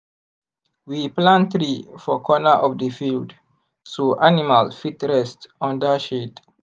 we plant tree for corner of the field so animal fit rest under shade.